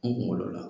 N kunkolo la